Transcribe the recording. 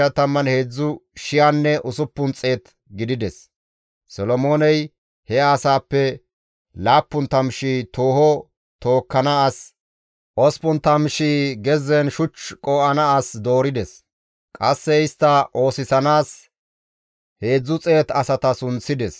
Solomooney he asaappe 70,000 tooho tookkana as, 80,000 gezzen shuch qoo7ana as doorides; qasse istta oosisanaas 300 asata sunththides.